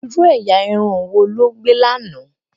ìrù ẹyà Irun wọ ló gbè là nà